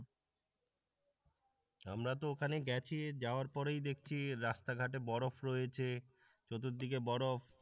আমরা তো ওখানে গেছি যাওয়ার পরেই দেখছি রাস্তাঘাটে বরফ রয়েছে চতুর্দিকে বরফ